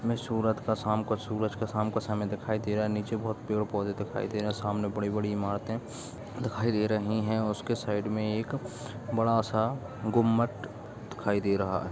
हमें सूरत का शाम का सूरज का शाम का समय दिखाई दे रहा है नीचे बहोत पेड़-पौधे दिखाई दे रहे है सामने बड़ी-बड़ी इमारतें दिखाई दे रही है उसके साइड में एक बड़ा सा गुंबद दिखाई दे रहा है।